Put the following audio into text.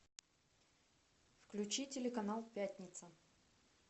включи телеканал пятница